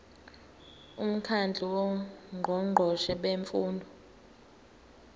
umkhandlu wongqongqoshe bemfundo